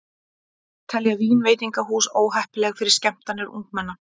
Telja vínveitingahús óheppileg fyrir skemmtanir ungmenna